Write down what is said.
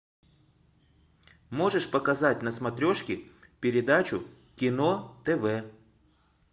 можешь показать на смотрешке передачу кино тв